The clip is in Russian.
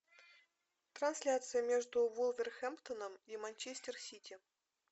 трансляция между вулверхэмптоном и манчестер сити